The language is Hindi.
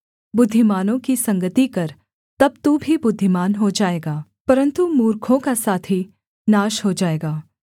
बुद्धिमानों की संगति कर तब तू भी बुद्धिमान हो जाएगा परन्तु मूर्खों का साथी नाश हो जाएगा